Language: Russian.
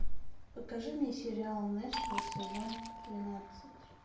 покажи мне сериал нэшвилл сезон тринадцать